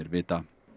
vita